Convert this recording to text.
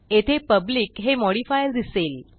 येथे पब्लिक हे मॉडिफायर दिसेल